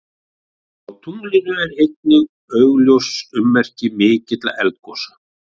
Á tunglinu eru einnig augljós ummerki mikilla eldgosa.